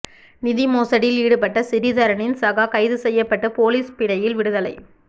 நிதி மோசடியில் ஈடுப்பட்ட சிறிதரனின் சகா கைது செய்யப்பட்டு பொலீஸ் பிணையில் விடுதலை